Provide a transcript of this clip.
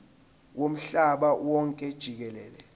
womhlaba wonke jikelele